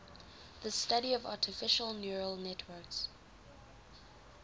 the study of artificial neural networks